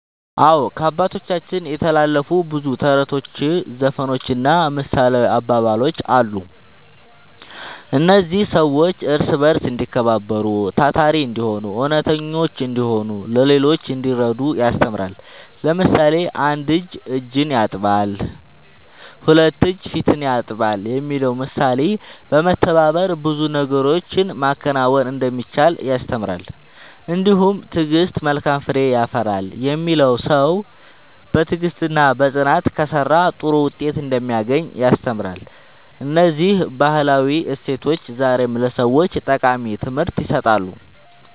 አዎ፣ ከአባቶቻችን የተላለፉ ብዙ ተረቶች፣ ዘፈኖችና ምሳሌያዊ አባባሎች አሉ። እነዚህ ሰዎች እርስ በርስ እንዲከባበሩ፣ ታታሪ እንዲሆኑ፣ እውነተኞች እንዲሆኑና ለሌሎች እንዲረዱ ያስተምራሉ። ለምሳሌ፣ ‘አንድ እጅ እጅን ያጥባል፣ ሁለት እጅ ፊትን ያጥባል’ የሚለው ምሳሌ በመተባበር ብዙ ነገሮችን ማከናወን እንደሚቻል ያስተምራል። እንዲሁም ‘ትዕግሥት መልካም ፍሬ ያፈራል’ የሚለው ሰው በትዕግሥትና በጽናት ከሠራ ጥሩ ውጤት እንደሚያገኝ ያስተምራል። እነዚህ ባህላዊ እሴቶች ዛሬም ለሰዎች ጠቃሚ ትምህርት ይሰጣሉ።"